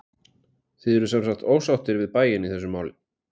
Þið eruð semsagt ósáttir við bæinn í þessu máli?